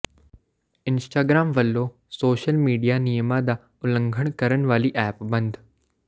Instagram ਵੱਲੋਂ social media ਨਿਯਮਾਂ ਦਾ ਉਲੰਘਣਾ ਕਰਨ ਵਾਲੀ ਐਪ ਬੰਦ